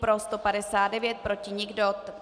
Pro 159, proti nikdo.